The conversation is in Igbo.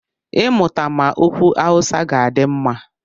I mụtama okwu Awụsa ga-adị mma.